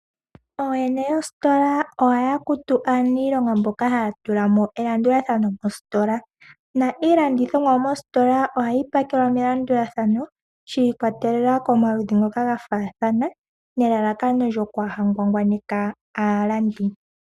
Ooyene yoositola ohaya kutu aanilonga mboka haya tulamo elandulathano mositola, na iilandithomwa mositola ohayi pakelwa melandulathano shiikwatelela komaludhi ngoka ga fathana nelalakono lyo kwaa hangwangwaneka aalandi.